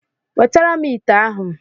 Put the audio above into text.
Wetara m ite ahụ.